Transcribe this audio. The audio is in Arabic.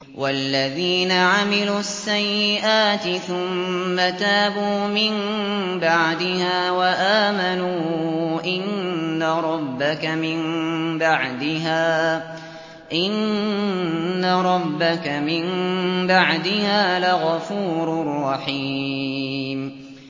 وَالَّذِينَ عَمِلُوا السَّيِّئَاتِ ثُمَّ تَابُوا مِن بَعْدِهَا وَآمَنُوا إِنَّ رَبَّكَ مِن بَعْدِهَا لَغَفُورٌ رَّحِيمٌ